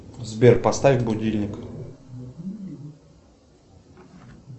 сбер поставь будильник